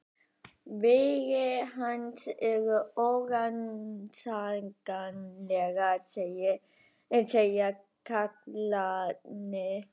Vegir hans eru órannsakanlegir, segja karlarnir.